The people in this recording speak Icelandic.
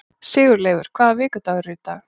Sigurleifur, hvaða vikudagur er í dag?